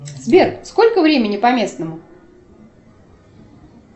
сбер сколько времени по местному